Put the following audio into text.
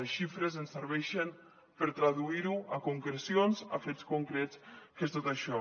les xifres ens serveixen per traduir ho a concrecions a fets concrets que és tot això